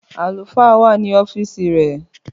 Àlùfáà wá ní ọfisi rẹ